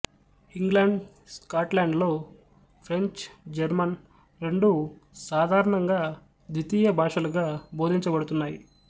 England స్కాట్లాండ్లలో French German రెండు సాధారణంగా ద్వితీయ భాషలుగా బోధించబడుతున్నాయి